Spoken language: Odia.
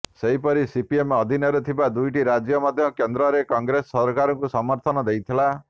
ସେହିପରି ସିପିଏମ ଅଧୀନରେ ଥିବା ଦୁଇଟି ରାଜ୍ୟ ମଧ୍ୟ କେନ୍ଦ୍ରରେ କଂଗ୍ରେସ ସରକାରକୁ ସମର୍ଥନ ଦେଇଥିଲା